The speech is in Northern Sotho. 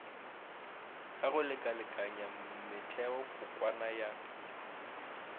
ka go lekalekanya metheokokwana ya